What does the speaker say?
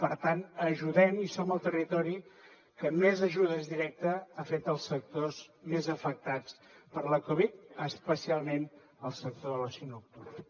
per tant ajudem i som el territori que més ajudes directes ha fet als sectors més afectats per la covid especialment al sector de l’oci nocturn